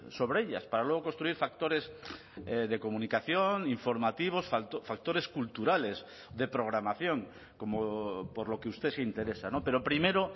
sobre ellas para luego construir factores de comunicación informativos factores culturales de programación como por lo que usted se interesa pero primero